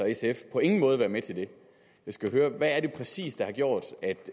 sf på ingen måde være med til det jeg skal høre hvad er det præcis der har gjort